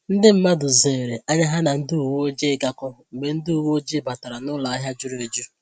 Ndi mmadụ zere ànyà ha na ndị uwe ojii ịgakọ mgbe ndị uwe oji batara n'ụlọ ahịa juru eju